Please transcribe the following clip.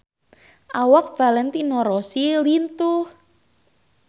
Awak Valentino Rossi lintuh